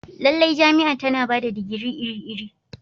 Lallai, jami'a tana ba da digiri iri-iri.